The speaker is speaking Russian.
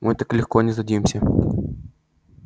мы так легко не сдадимся